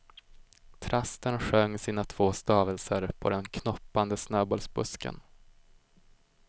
Trasten sjöng sina två stavelser på den knoppande snöbollsbusken.